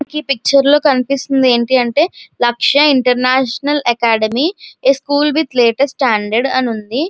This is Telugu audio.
ఈ పిక్చర్ లో కనిపిస్తుంది ఏంటి అంటే Lakshya International Academy a school with latest standard అని ఉంది.